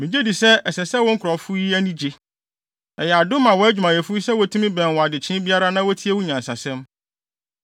Migye di sɛ ɛsɛ sɛ wo nkurɔfo yi ani gye! Ɛyɛ adom ma wʼadwumayɛfo yi sɛ wotumi bɛn wo adekyee biara na wotie wo nyansasɛm.